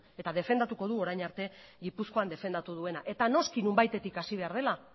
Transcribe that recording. eta defendatuko du orain arte gipuzkoan defendatu duena eta noski nonbaitetik hasi behar dela